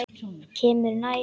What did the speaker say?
Kemur nær.